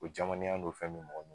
O jamannenya n'o fɛn me mɔgɔ la